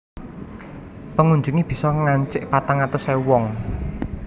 Pengunjungé bisa ngancik patang atus ewu wong